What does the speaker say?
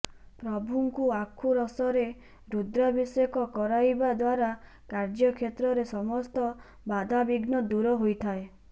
ପ୍ରଭୁଙ୍କୁ ଆଖୁ ରସରେ ରୁଦ୍ରାଭିଷେକ କରାଇବା ଦ୍ବାରା କାର୍ଯ୍ୟକ୍ଷେତ୍ରରେ ସମସ୍ତ ବାଧାବିଘ୍ନ ଦୂର ହୋଇଥାଏ